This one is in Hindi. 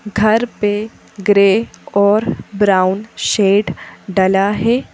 घर पे ग्रे और ब्राउन शेड डला है।